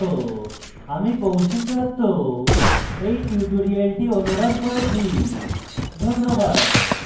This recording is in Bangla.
আমি কৌশিক দত্ত এই টিউটোরিয়ালটি অনুবাদ করেছি ধন্যবাদ